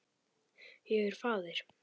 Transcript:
Ég er faðir.